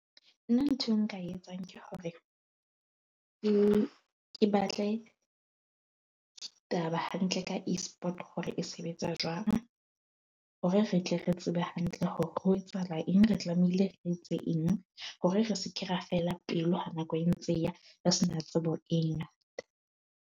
Nna nthwe nka e etsang ke hore, ke ke batle taba hantle ka Esport hore e sebetsa jwang hore re tle re tsebe hantle hore ho etsahala eng. Re tlamehile re etse eng hore re se ke ra fela pelo nako e ntse e ya re sena tsebo e ngata.